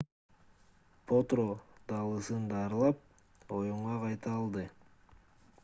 потро далысын дарылап оюнга кайта алды